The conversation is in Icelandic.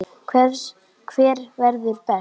Hver verður best?